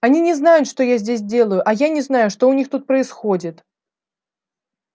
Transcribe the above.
они не знают что я здесь делаю а я не знаю что у них тут происходит